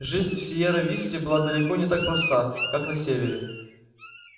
жизнь в сиерра висте была далеко не так проста как на севере